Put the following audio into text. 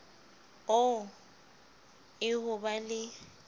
oo e ho ba le